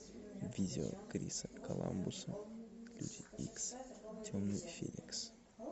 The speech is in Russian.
видео криса коламбуса люди икс темный феникс